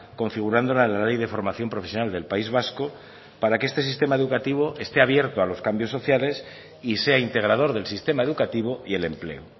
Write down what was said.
configurándola en la ley de formación profesional del país vasco para que este sistema educativo esté abierto a los cambios sociales y sea integrador del sistema educativo y el empleo